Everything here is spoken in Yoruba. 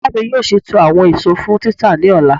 Iya mi yoo ṣeto awọn eso fun tita ni ọla.